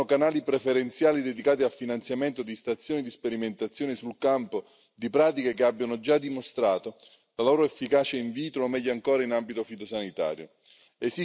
Occorrono canali preferenziali dedicati al finanziamento di stazioni di sperimentazione sul campo di pratiche che abbiano già dimostrato la loro efficacia in vitro o, meglio ancora, in ambito fitosanitario.